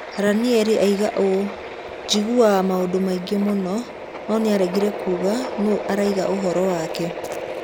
Ranieri oigaga ũũ: "Njiguaga maũndũ maingĩ mũno", no nĩaregire kuuga kuuga nũũ aragia ũhoro wake